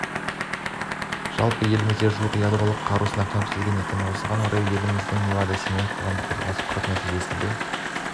жалпы елімізде жуық ядролық қаруды сынақтан өткізген екен осыған орай елімізде невада-семей қоғамдық қозғалысы құрылып нәтижесінде